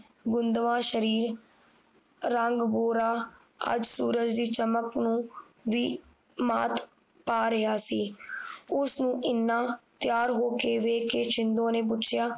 ਬੂੰਦਵਾ ਸ਼ਰੀਰ ਰੰਗ ਗੋਰਾ ਅੱਜ ਸੂਰਜ ਦੀ ਚਮਕ ਨੂੰ ਵੀ ਮਾਤ ਪਾ ਰਿਹਾ ਸੀ ਉਸ ਨੂੰ ਇੰਨਾ ਤਿਆਰ ਹੋਕੇ ਵੇਖ ਕੇ ਛਿੰਦੋ ਨੇ ਪੁੱਛਿਆ